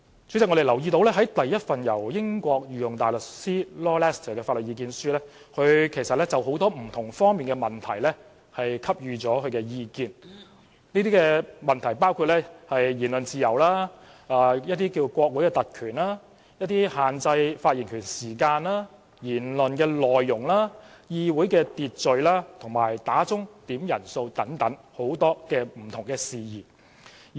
主席，在第一份由英國御用大律師 Lord LESTER 提供的法律意見書中，他就很多不同方面的問題給予意見，包括言論自由、國會特權、限制發言時間、言論內容、議會秩序及響鐘點算法定人數等不同事宜。